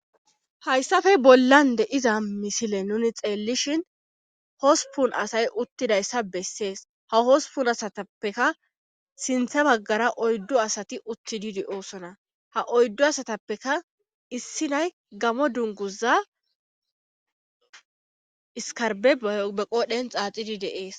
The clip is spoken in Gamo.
hayssafe bollan de iza misile nuni xeellishin hospun asay uttidayssa bessees ha hospun asatappeka sintha baggara oyddu asati uttididi oosona ha oyddu asatappeka issi nay gamo dunguza iskarbe abe qoodhen xaaxidi deees